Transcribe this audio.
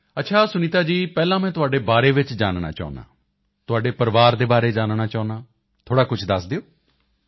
ਅੱਛਾ ਸੁਨੀਤਾ ਜੀ ਪਹਿਲਾਂ ਮੈਂ ਤੁਹਾਡੇ ਬਾਰੇ ਵਿੱਚ ਜਾਨਣਾ ਚਾਹੁੰਦਾ ਹਾਂ ਤੁਹਾਡੇ ਪਰਿਵਾਰ ਦੇ ਬਾਰੇ ਜਾਨਣਾ ਚਾਹੁੰਦਾ ਹਾਂ ਥੋੜ੍ਹਾ ਕੁਝ ਦੱਸ ਦਿਓ